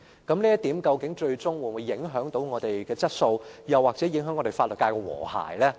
究竟這項建議會否影響我們的質素或法律界的和諧？